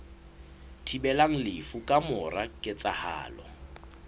thibelang lefu ka mora ketsahalo